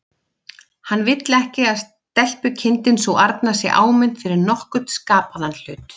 Hann vill ekki að stelpukindin sú arna sé áminnt fyrir nokkurn skapaðan hlut.